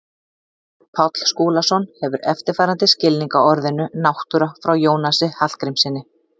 Páll Skúlason hefur eftirfarandi skilning á orðinu náttúra frá Jónasi Hallgrímssyni: